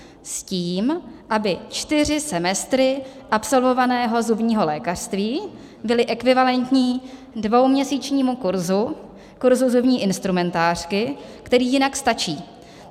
S tím, aby čtyři semestry absolvovaného zubního lékařství byly ekvivalentní dvouměsíčnímu kurzu, kurzu zubní instrumentářky, který jinak stačí.